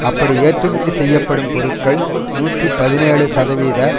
அப்படி ஏற்றுமதி செய்யப்படும் பொருட்கள் நூற்றி பதினேழு சதவீத